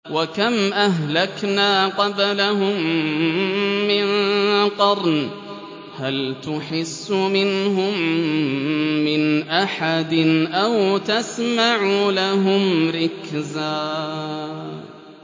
وَكَمْ أَهْلَكْنَا قَبْلَهُم مِّن قَرْنٍ هَلْ تُحِسُّ مِنْهُم مِّنْ أَحَدٍ أَوْ تَسْمَعُ لَهُمْ رِكْزًا